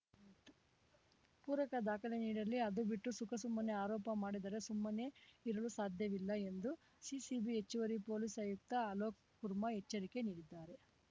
ಪೂರಕ ದಾಖಲೆ ನೀಡಲಿ ಅದು ಬಿಟ್ಟು ಸುಖಸುಮ್ಮನೆ ಆರೋಪ ಮಾಡಿದರೆ ಸುಮ್ಮನೆ ಇರಲು ಸಾಧ್ಯವಿಲ್ಲ ಎಂದು ಸಿಸಿಬಿ ಹೆಚ್ಚುವರಿ ಪೊಲೀಸ್‌ ಆಯುಕ್ತ ಅಲೋಕ್‌ ಕುರ್ಮಾ ಎಚ್ಚರಿಕೆ ನೀಡಿದ್ದಾರೆ